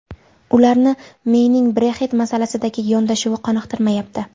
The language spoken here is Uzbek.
Ularni Meyning Brexit masalasidagi yondashuvi qoniqtirmayapti.